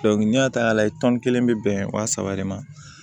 n'i y'a ta k'a lajɛ tɔn kelen bɛ bɛn wa saba de ma